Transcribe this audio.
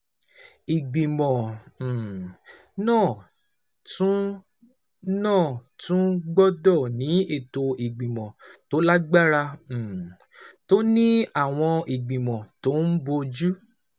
Ìgbìmọ̀ um náà tún náà tún gbọ́dọ̀ ní ètò ìgbìmọ̀ tó lágbára, um tó ní àwọn ìgbìmọ̀ tó ń bójú